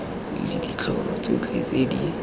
le ditlhogo tsotlhe tse di